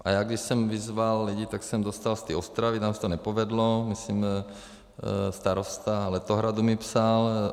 A já když jsem vyzval lidi, tak jsem dostal z té Ostravy, tam se to nepovedlo, myslím starosta Letohradu mi psal.